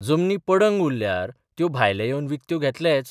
जमनी पडंग उरल्यार त्यो भायले येवन विकत्यो घेतलेच.